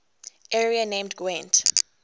area named gwent